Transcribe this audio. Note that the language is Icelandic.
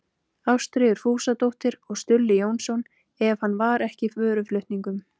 Ástríður Fúsadóttir og Stulli Jónsson ef hann var ekki í vöruflutningum.